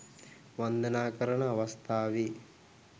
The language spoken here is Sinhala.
වන්දනා කරන අවස්ථාවේ